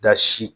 Da si